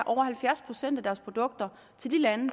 halvfjerds procent af deres produkter til de lande